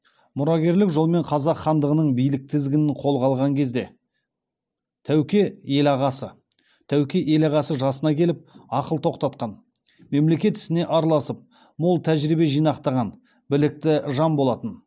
мұрагерлік жолмен қазақ хандығының билік тізгінін қолға алған кезде тәуке ел ағасы жасына келіп ақыл тоқтатқан мемлекет ісіне араласып мол тәжірибе жинақтаған білікті жан болатын